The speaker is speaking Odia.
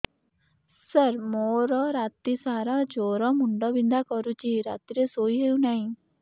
ସାର ମୋର ରାତି ସାରା ଜ୍ଵର ମୁଣ୍ଡ ବିନ୍ଧା କରୁଛି ରାତିରେ ଶୋଇ ହେଉ ନାହିଁ